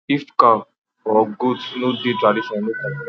if cow or goat no dey tradition no complete